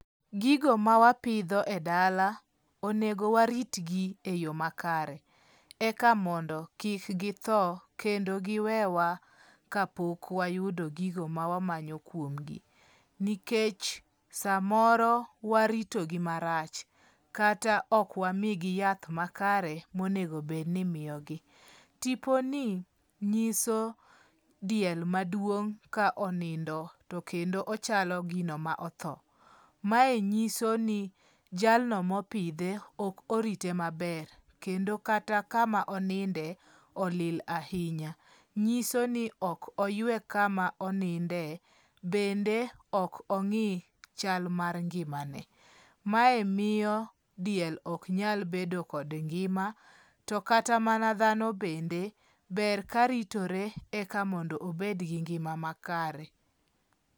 Gigo mawapidho edala, onego waritgi eyo makare eka mondo kik githo kendo giwewa kapok wayudo gigo ma wamanyo kuom gi. Nikech samoro waritogi marach, kata ok wamigi yath makare monego bed ni imiyogo. Tiponi, nyiso diel maduong' ka onindo to kendo ochalo gino ma otho. Mae nyiso ni jalno mopidhe ok orite maber. Kendo kata kama oninde, olil ahinya. Nyiso ni ok oywe kama oninde, bende ok ong'i chal mar ngima ne. Mae miyo diel ok nyal bedo kod ngima, to kata mana dhano bende ber ka ritore eka mondo obed gi ngima makare.